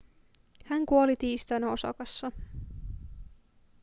hän kuoli tiistaina osakassa